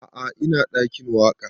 A'a ina ɗakin waƙa